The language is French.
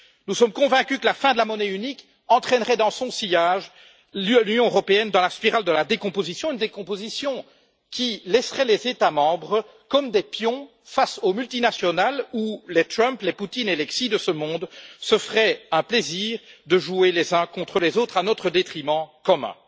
Nous sommes convaincus que la fin de la monnaie unique entraînerait dans son sillage l'Union européenne dans la spirale de la décomposition, décomposition qui laisserait les États membres comme des pions face aux multinationales, dans une situation où les Trump, les Poutine ou les Xi de ce monde se feraient un plaisir de monter les uns contre les autres à notre détriment commun.